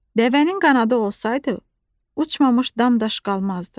Dəvənin qanadı olsaydı, uçmamış dam-daş qalmazdı.